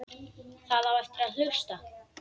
Það á eftir að hlusta.